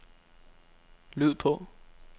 lyd på